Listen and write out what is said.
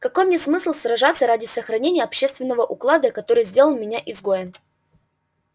какой мне смысл сражаться ради сохранения общественного уклада который сделал меня изгоем